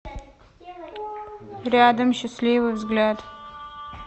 рядом счастливый взгляд